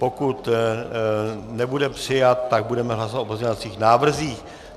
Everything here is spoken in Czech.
Pokud nebude přijat, tak budeme hlasovat o pozměňovacích návrzích.